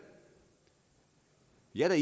jeg er